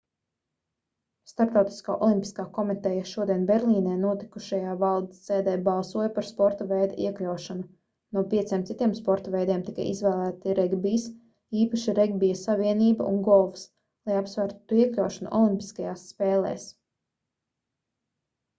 starptautiskā olimpiskā komiteja šodien berlīnē notikušajā valdes sēdē balsoja par sporta veidu iekļaušanu no pieciem citiem sporta veidiem tika izvēlēti regbijs īpaši regbija savienība un golfs lai apsvērtu to iekļaušanu olimpiskajās spēlēs